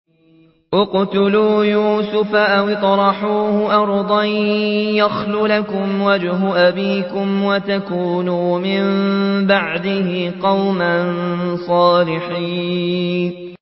اقْتُلُوا يُوسُفَ أَوِ اطْرَحُوهُ أَرْضًا يَخْلُ لَكُمْ وَجْهُ أَبِيكُمْ وَتَكُونُوا مِن بَعْدِهِ قَوْمًا صَالِحِينَ